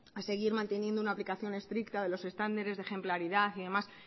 de seguir manteniendo un aplicación estricta de los estándares de ejemplaridad y demás